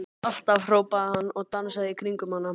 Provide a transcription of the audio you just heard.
Alltaf! hrópaði hann og dansaði í kringum hana.